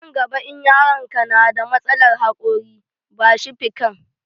Nan gaba in yaron ka na da matsalan haƙori, ba shi fikan